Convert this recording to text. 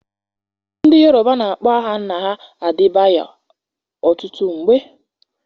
Ndị Yoruba na-akpọ aha nna ha Adebayor ọtụtụ mgbe.